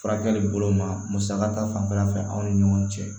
Furakɛli bolo ma musaka ta fanfɛla fɛ anw ni ɲɔgɔn cɛ